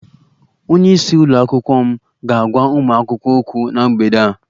Onye isi nke ụlọ akwụkwọ m ga-agwa ụmụ akwụkwọ okwu na mgbede a